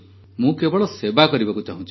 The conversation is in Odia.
ମୁଁ କେବଳ ସେବା କରିବାକୁ ଚାହୁଁଛି